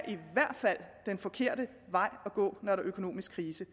den forkerte vej at gå når der er økonomisk krise